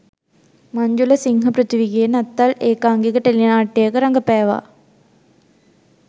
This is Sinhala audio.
මංජුල සිංහපෘථීවිගේ නත්තල් ඒකාංගික ටෙලි නාට්‍යයක රඟපෑවා